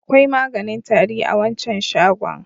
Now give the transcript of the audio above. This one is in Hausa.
Akwai maganin tari a wancan shagon.